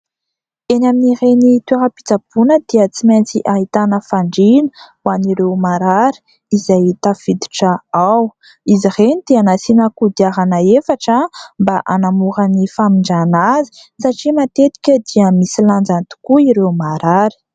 Eny amin'ireny toeram-pitsaboana dia tsy maintsy ahitana fandriana ho an'ireo marary izay tafiditra ao. Izy ireny dia nasiana kodiarana efatra mba hanamora ny famindrana azy satria matetika dia misy lanjany tokoa ireo marary.